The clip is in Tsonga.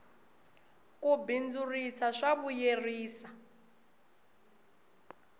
ku bindzurisa swa vuyerisa